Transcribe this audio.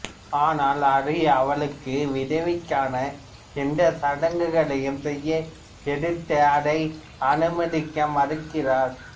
ஆனால் அரி அவளுக்கு விதவைக்கான எந்த சடங்குகளையும் செய்ய எதிர்த்து அதை அனுமதிக்க மறுக்கிறார்